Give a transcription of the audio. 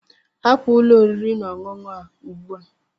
Hapụ ụlọ oriri na ọṅụṅụ a ugbu a!